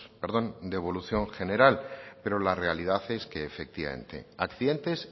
de evolución general pero la realidad es que efectivamente accidentes